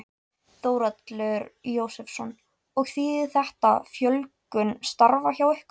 Þórhallur Jósefsson: Og þýðir þetta fjölgun starfa hjá ykkur?